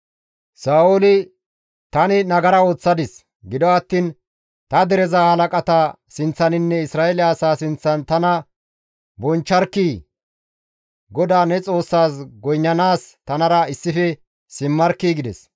Sa7ooli, «Tani nagara ooththadis; gido attiin ta dereza halaqata sinththaninne Isra7eele asaa sinththan tana bonchcharkkii! GODAA ne Xoossaas goynnanaas tanara issife simmarkkii!» gides.